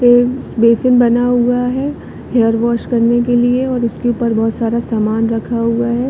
ये बेसिन बना हुआ है हेयर वाश करने के लिए और उसके ऊपर बहुत सारा सामान रखा हुआ है।